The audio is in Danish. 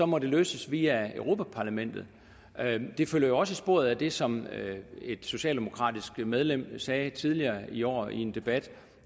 må de løses via europa parlamentet det følger jo også i sporet af det som et socialdemokratisk medlem sagde tidligere i år i en debat